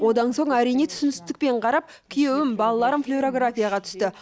одан соң әрине түсіністікпен қарап күйеуім балаларым флюорографияға түсті